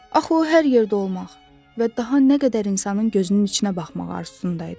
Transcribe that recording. Axı o hər yerdə olmaq və daha nə qədər insanın gözünün içinə baxmaq arzusunda idi.